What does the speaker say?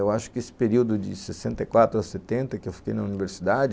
Eu acho que esse período de sessenta e quatro a setenta, que eu fiquei na universidade,